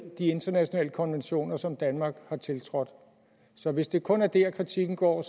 de internationale konventioner som danmark har tiltrådt så hvis det kun er det kritikken går